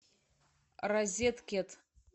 розеткед